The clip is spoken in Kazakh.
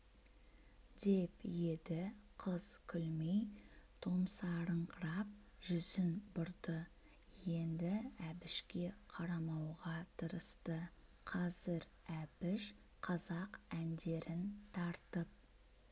деп еді қыз күлмей томсарыңқырап жүзін бұрды енді әбішке қарамауға тырысты қазір әбіш қазақ әндерін тартып